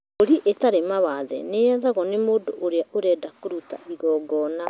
Mbũri ĩtarĩ mawathe nĩyethagwo nĩ mũndũ ũrĩa ũrenda kũruta igongona